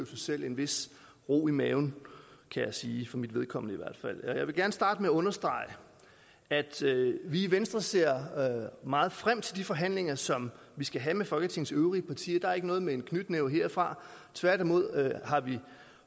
sig selv en vis ro i maven kan jeg sige i for mit vedkommende jeg vil gerne starte med at understrege at vi i venstre ser meget frem til de forhandlinger som vi skal have med folketingets øvrige partier der er ikke noget med en knytnæve herfra tværtimod har vi